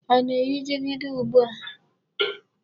A na-eyi jigida ugbu a.